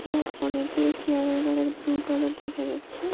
ইহা অনেকগুলি চেয়ার -এর কালার ব্লু কালার দেখা যাচ্ছে।